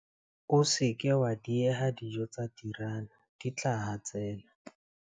O se ke wa dieha dijo tsa tinara di tla hatsela.